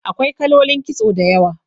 Akwai kalolin kitso da yawa